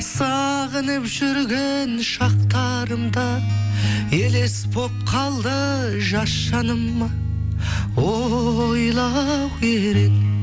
сағынып жүрген шақтарымда елес болып қалды жас жаныма ойлау керек